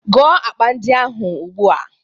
Gụọ akpa ndị ahụ ugbu a!